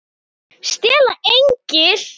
STELA ENGLI!